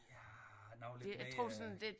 Ja nok lidt mere